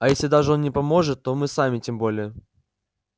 а если даже он не может то мы сами тем более